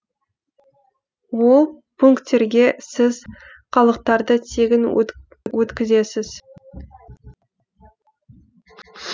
ол пунктерге сіз қалдықтарды тегін өткізесіз